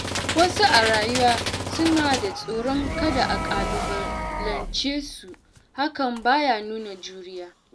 Wasu a rayuwa suna da tsoron kada a ƙalubalance su, hakan ba ya nuna juriya.